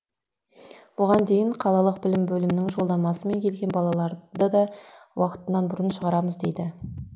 бұған дейін қалалық білім бөлімінің жолдамасымен келген балаларды да уақытынан бұрын шығарамыз дейді